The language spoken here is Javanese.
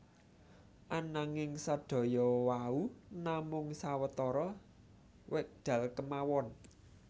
Ananging sedaya wau namung sawetara wekdal kemawon